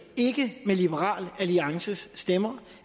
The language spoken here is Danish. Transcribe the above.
ikke med liberal alliances stemmer